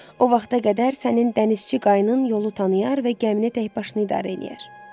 O vaxta qədər sənin dənizçi qayığın yolu tanıyar və gəminə təkbaşına idarə eləyər.